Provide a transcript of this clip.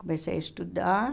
Comecei a estudar.